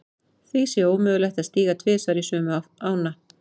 Því sé ómögulegt að stíga tvisvar í sömu ána.